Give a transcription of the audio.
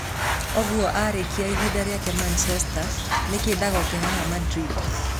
Ũguo arĩkia ihinda rĩake Manchester, nĩkĩĩ ndagoke haha Madrid?